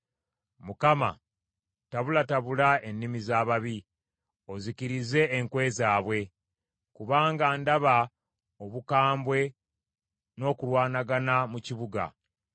Mukama tabulatabula ennimi z’ababi, ozikirize enkwe zaabwe; kubanga ndaba obukambwe n’okulwanagana mu kibuga.